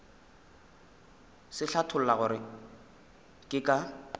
se hlatholla gore ke ka